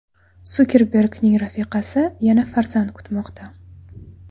Sukerbergning rafiqasi yana farzand kutmoqda.